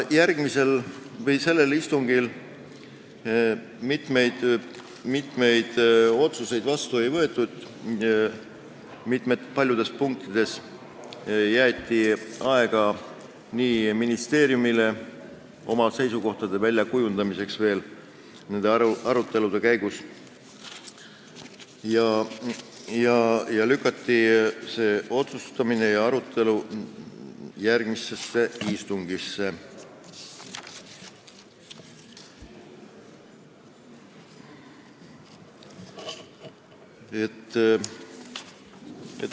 Ka sellel istungil mitmeid otsuseid vastu ei võetud, paljudes punktides jäeti ministeeriumile aega oma seisukoha väljakujundamiseks ning lükati arutelu ja otsustamine järgmisesse istungisse.